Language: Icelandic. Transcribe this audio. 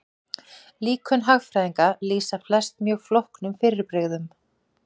Líkön hagfræðinga lýsa flest mjög flóknum fyrirbrigðum.